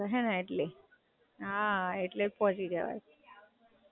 બઉ fast bike ચલાઈને જતો હસે એટલે હે ને એટલે? હાં, એટલે જ પોહચી જવાય.